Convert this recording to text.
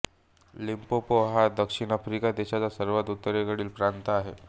Limpopo हा दक्षिण Africa देशाचा सर्वात उत्तरेकडील प्रांत आहे